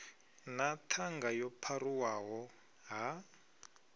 na ṱhanga yo pharuwaho ha